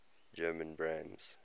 german brands